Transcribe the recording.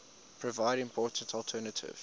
provide important alternative